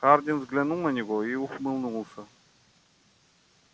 хардин взглянул на него и ухмыльнулся